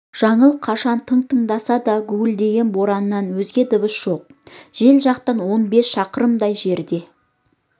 жаңыл қашан тың тыңдаса да гуілдеген бораннан өзге дыбыс жоқ жел жақта он бес шақырымдай жерде